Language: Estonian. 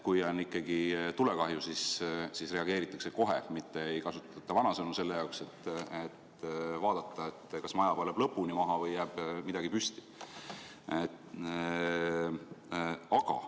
Kui on ikkagi tulekahju, siis reageeritakse kohe, mitte ei kasutata vanasõnu, et vaadata, kas maja põleb lõpuni maha või jääb midagi püsti.